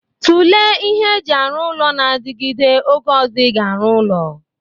Tụlee ihe eji arụ ụlọ na-adigide oge ọzọ ị ga-arụ ụlọ!